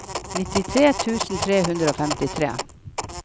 nittitre tusen tre hundre og femtitre